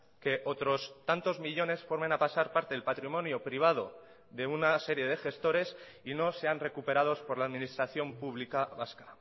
que otros tantos millónes formen a pasar parte del patrimonio privado de una serie de gestores y no sean recuperados por la administración pública vasca